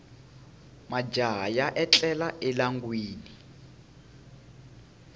majaha ya etlela elawini